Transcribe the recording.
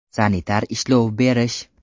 Sanitar ishlov berish .